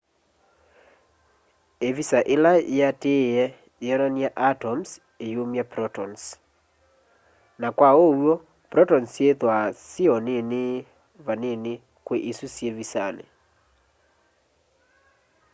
ivisa ila yiatiie yionany'a atoms iyumya protons na kwa uw'o protons syithwaa syi o nini vanini kwi isu syi visani